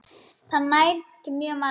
Það nær til mjög margra.